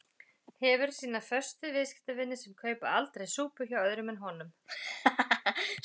Hefur sína föstu viðskiptavini sem kaupa aldrei sápu hjá öðrum en honum.